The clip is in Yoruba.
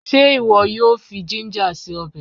Ṣé ìwọ yóò fi jínjà se ọbẹ̀?